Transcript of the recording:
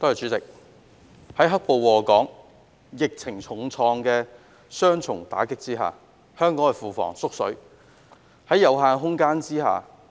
主席，在"黑暴"禍港及疫情重創的雙重打擊下，香港的庫房"縮水"。